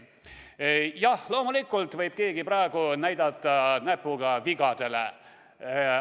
Jah, loomulikult võib keegi praegu näpuga vigadele näidata.